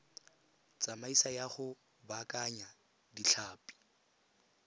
tsamaiso ya go baakanya ditlhapi